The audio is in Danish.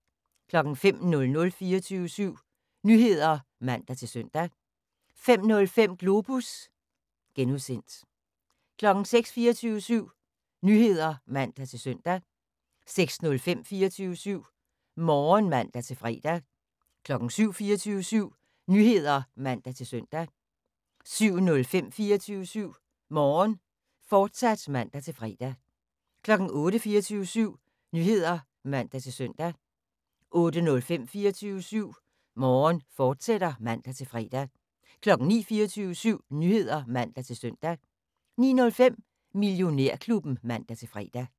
05:00: 24syv Nyheder (man-søn) 05:05: Globus (G) 06:00: 24syv Nyheder (man-søn) 06:05: 24syv Morgen (man-fre) 07:00: 24syv Nyheder (man-søn) 07:05: 24syv Morgen, fortsat (man-fre) 08:00: 24syv Nyheder (man-søn) 08:05: 24syv Morgen, fortsat (man-fre) 09:00: 24syv Nyheder (man-søn) 09:05: Millionærklubben (man-fre)